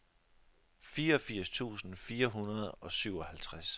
fireogfirs tusind fire hundrede og syvoghalvtreds